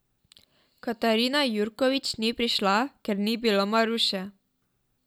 Katarina Jurkovič ni prišla, ker ni bilo Maruše.